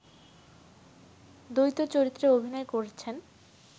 দ্বৈত চরিত্রে অভিনয় করেছেন